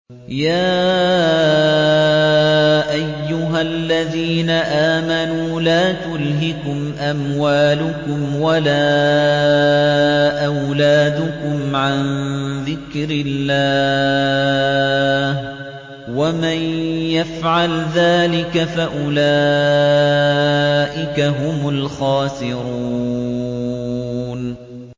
يَا أَيُّهَا الَّذِينَ آمَنُوا لَا تُلْهِكُمْ أَمْوَالُكُمْ وَلَا أَوْلَادُكُمْ عَن ذِكْرِ اللَّهِ ۚ وَمَن يَفْعَلْ ذَٰلِكَ فَأُولَٰئِكَ هُمُ الْخَاسِرُونَ